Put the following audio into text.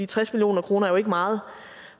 tres million kroner er ikke meget